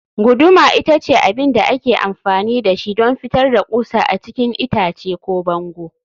guduma ita ce abin da ake amfani da shi don fitar da ƙusa a cikin itace ko bango